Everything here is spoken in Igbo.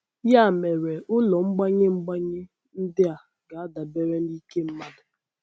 Ya mere, ụlọ mgbanye mgbanye ndị a ga-adabere n’ike mmadụ.